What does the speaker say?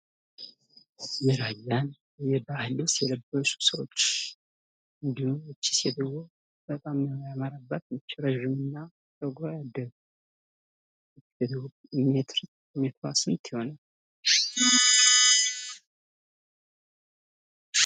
የራያን የባሀል ልብስ የለበሱ ሰዎች እንድሁም ይች ሴትዮ በጣም ነው ያማረባት እረጅም እና ፅጉሯ ያደገ የቁመቷ ሜትር ስንት ይሆናል?